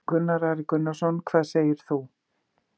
Gunnar Atli Gunnarsson: Hvað segir þú?